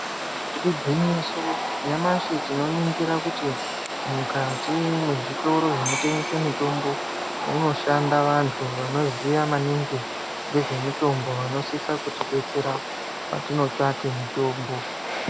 Igwinyiso nyamashi tinoningira kuti mukati mwezvitoro zvinotengese mitombo munoshanda vantu vanoziya mamingi ngezvemitombo vanosisa kuti detsera patinotsvake mitombo.